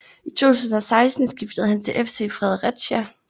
I 2016 skiftede han til FC Fredericia